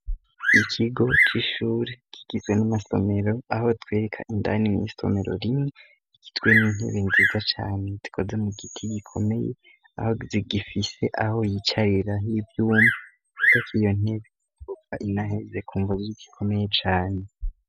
Ikigo c'ishure kigizwe n'amasomero aho twereka indani n'isomero rimwi ikitwe n'intebi nziza cane tikoze mu giti gikomeye aho zigifise aho yicarira ho ivyuma, kuko ako iyo ntebi gova inaheze ku mvuzi y'igikomeye cane.